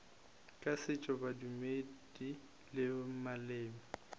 tša setšo bodumedi le maleme